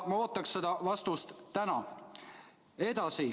Ma ootan vastust täna.